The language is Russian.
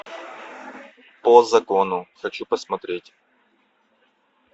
по закону хочу посмотреть